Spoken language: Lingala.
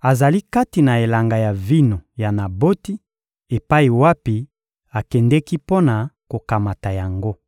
azali kati na elanga ya vino ya Naboti epai wapi akendeki mpo na kokamata yango.